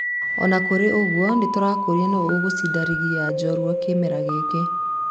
Ona kũrĩ ũguo, nĩ tũrakũria nũ ũgũcinda rigi ya njorua kĩmera gĩkĩ.